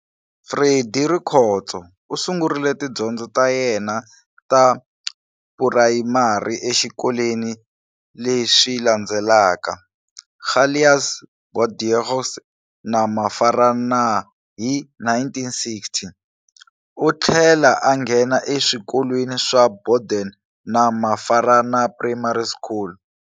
Freddy Rikhotso u sungurile tidyondzo ta yena ta phurayimari exikolweni leswi landzelaka-Calais, Borddeaux na Mafarana hi 1960. U thlela a ngena e swikolweni swa borden na mafarana primary School.